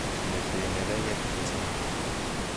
Mete neregek chechang'.